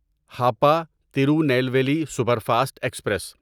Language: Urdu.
Hapa Tirunelveli superfast express